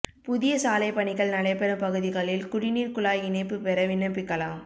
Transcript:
புதிய சாலை பணிகள் நடைபெறும் பகுதிகளில் குடிநீா்க் குழாய் இணைப்பு பெற விண்ணப்பிக்கலாம்